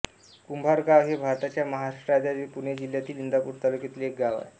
कुंभारगाव हे भारताच्या महाराष्ट्र राज्यातील पुणे जिल्ह्यातील इंदापूर तालुक्यातील एक गाव आहे